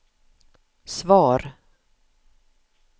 svar